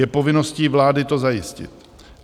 Je povinností vlády to zajistit.